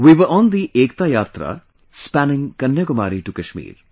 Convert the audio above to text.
We were on the 'Ekta Yatra', spanning Kanyakumari to Kashmir